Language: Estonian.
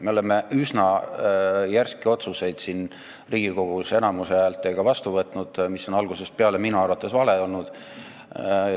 Me oleme üsna järske otsuseid Riigikogus enamuse häältega vastu võtnud, mis on algusest peale minu arvates vale olnud.